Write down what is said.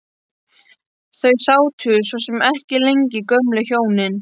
Þau sátu svo sem ekki lengi gömlu hjónin.